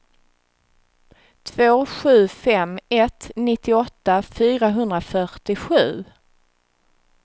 två sju fem ett nittioåtta fyrahundrafyrtiosju